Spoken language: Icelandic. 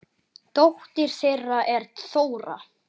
Dóttir þeirra er Þóra.